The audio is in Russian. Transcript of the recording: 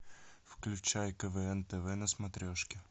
включай квн тв на смотрешке